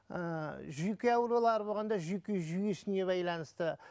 ыыы жүйке аурулары болғанда жүйке жүйесіне байланысты